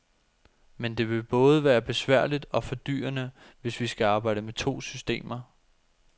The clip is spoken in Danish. Men det vil både være besværligt og fordyrende, hvis vi skal arbejde med to systemer.